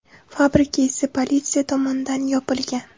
Fabrika esa politsiya tomonidan yopilgan.